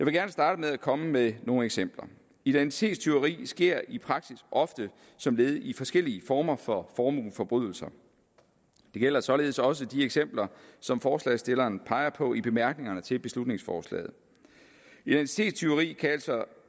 gerne starte med at komme med nogle eksempler identitetstyveri sker i praksis ofte som led i forskellige former for formueforbrydelser det gælder således også de eksempler som forslagsstilleren peger på i bemærkningerne til beslutningsforslaget identitetstyveri kan altså